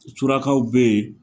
Surakaw bɛ yen